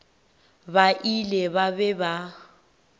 ba ile ba be ba